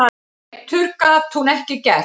Betur gat hún ekki gert.